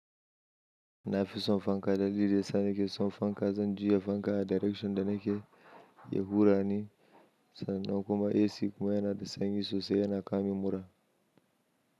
Na fi son fanka dalili dayasa ni ke son fanka, zan juya fanka a direction da nake ya hura ni sannan kuma AC kuma yana da sanyi sosai yana kawomin mura.